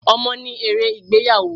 Ọmọ ni ère ìgbéyàwó.